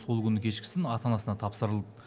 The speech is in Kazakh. сол күні кешкісін ата анасына тапсырылды